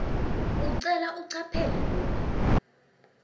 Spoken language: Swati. ucelwa ucaphele loku